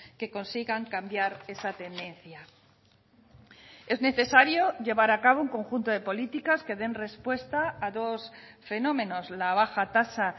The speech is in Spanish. que consigan cambiar esa tendencia es necesario llevar a cabo un conjunto de políticas que den respuesta a dos fenómenos la baja tasa